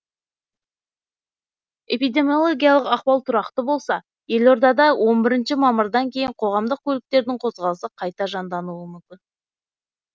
эпидемиологиялық ахуал тұрақты болса елорадада он бірінші мамырдан кейін қоғамдық көліктердің қозғалысы қайта жандануы мүмкін